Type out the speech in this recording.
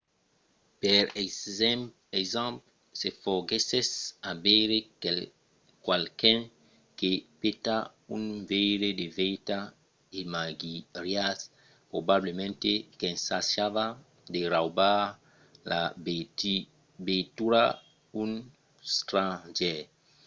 per exemple se foguèssetz a veire qualqu’un que peta un veire de veitura imaginariatz probablament qu'ensajava de raubar la veitura d’un stranger